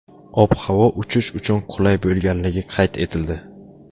Ob-havo uchish uchun qulay bo‘lganligi qayd etildi.